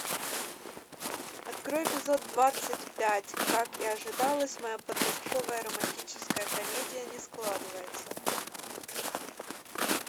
открой эпизод двадцать пять как и ожидалось моя подростковая романтическая комедия не складывается